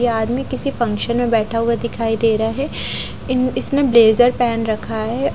ये आदमी किसी फंक्शन में बैठा हुआ दिखाई दे रहा है इन इसने ब्लेज़र पहन रखा है --